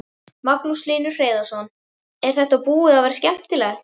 Magnús Hlynur Hreiðarsson: Er þetta búið að vera skemmtilegt?